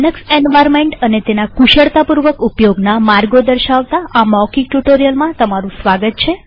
Linux environment અને તેના કુશળતાપૂર્વક ઉપયોગના માર્ગો દર્શાવતા આ મૌખિક ટ્યુ્ટોરીઅલમાં સ્વાગત છે